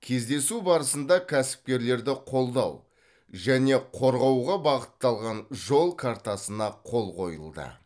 кездесу барысында кәсіпкерлерді қолдау және қорғауға бағытталған жол картасына қол қойылды